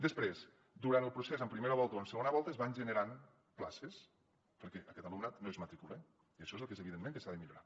després durant el procés en primera volta o en segona volta es van generant places perquè aquest alumnat no es matricula i això és el que és evident que s’ha de millorar